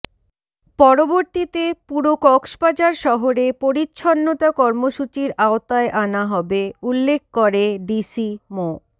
পরবর্তীতে পুরো কক্সবাজার শহর এ পরিচ্ছন্নতা কর্মসূচির আওতায় আনা হবে উল্লেখ করে ডিসি মো